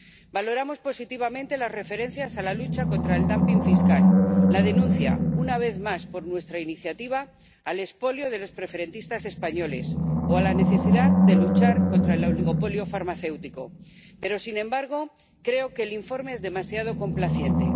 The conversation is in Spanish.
Valoramos positivamente las referencias a la lucha contra el dumping fiscal, la denuncia —una vez más, por iniciativa nuestra— del expolio de los preferentistas españoles, o la necesidad de luchar contra el oligopolio farmacéutico. Pero, sin embargo, creo que el informe es demasiado complaciente.